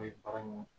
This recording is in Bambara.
O ye baga ni